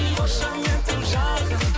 қошаметің жарқын